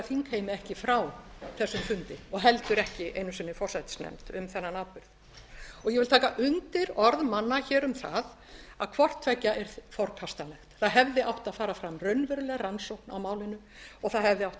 þingheimi ekki frá þessum fundi og heldur ekki einu sinni forsætisnefnd um þennan atburð ég vil taka undir orð manna hér um að hvort tveggja er forkastanlegt það hefði átt að fara fram raunveruleg rannsókn á málinu og það hefði átt að